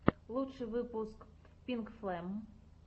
лучший выпуск пинкфлэм